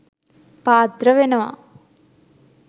පාත්‍ර වෙනවා.